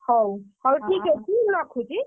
ହଉ, ହଉ ଠିକ୍ ଅଛି ମୁଁ ରଖୁଛି।